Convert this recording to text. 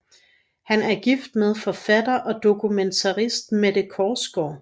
Han er gift med forfatter og dokumentarist Mette Korsgaard